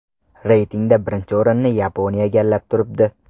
Reytingda birinchi o‘rinni Yaponiya egallab turibdi.